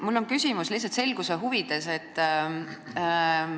Mul on küsimus lihtsalt selguse huvides.